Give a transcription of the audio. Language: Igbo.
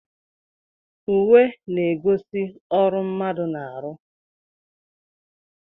Uwe na-egosi ọrụ mmadụ na-aru